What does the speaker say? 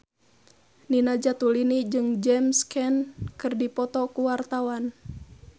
Nina Zatulini jeung James Caan keur dipoto ku wartawan